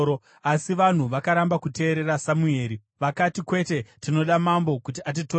Asi vanhu vakaramba kuteerera Samueri. Vakati, “Kwete! Tinoda mambo kuti atitonge.